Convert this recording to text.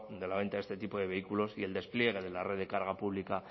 de la venta de este tipo de vehículos y el despliegue de la red de carga pública al